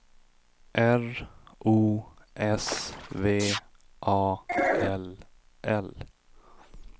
R O S V A L L